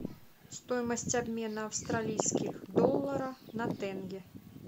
стоимость обмена австралийских долларов на тенге